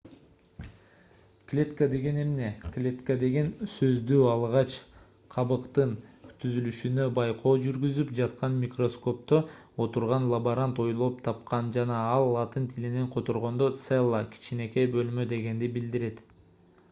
клетка деген эмне клетка деген сөздү алгач кабыктын түзүлүшүнө байкоо жүргүзүп жаткан микроскопто отурган лаборант ойлоп тапкан жана ал латын тилинен которгондо cella - кичинекей бөлмө дегенди билдирет